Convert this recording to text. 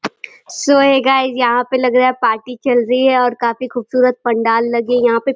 सो hey guys यहाँ पे लग रहा है पार्टी चल रही है। और काफी खूबसूरत पंडाल लगे है यहाँ पे --